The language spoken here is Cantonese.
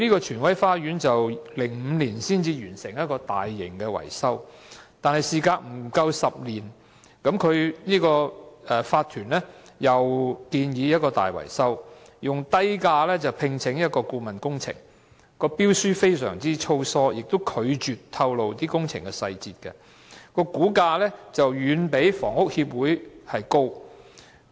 荃威花園於2005年才完成一項大型維修工程，但事隔不夠10年，業主法團又建議進行另一項大型維修工程，以低價聘請一間顧問公司，標書非常粗疏，亦拒絕透露工程的細節，估價遠比房屋協會為高。